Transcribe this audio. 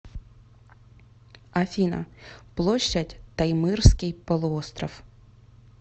афина площадь таймырский полуостров